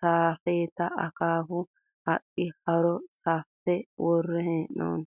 saafettena akkaaffu haqqi haaro saaffe worre heenoni